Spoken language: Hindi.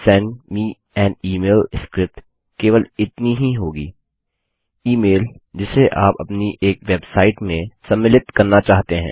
send me an email script केवल इतनी ही होगी ईमेल जिसे आप अपनी एक वेबसाइट में सम्मिलित करना चाहते हैं